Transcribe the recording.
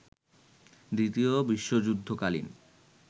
দ্বিতীয় বিশ্বযুদ্ধ কালীন